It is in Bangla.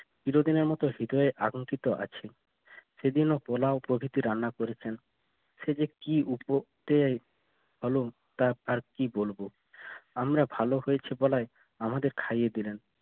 চিরদিনের মতো হৃদয়ে আটকিত আছে বিভিন্ন পোলাও প্রভৃতি রান্না করেছেন সে যে কি কী বলবো আমরা ভালো হয়েছে গলায় আমাদের খাওইয়ে দিলেন